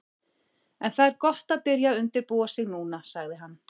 En það er gott að byrja að undirbúa sig núna, sagði hann.